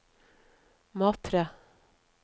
Matre